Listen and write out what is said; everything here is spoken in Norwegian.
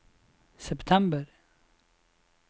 september